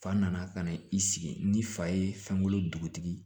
Fa nana ka na i sigi ni fa ye fɛn kolo dugutigi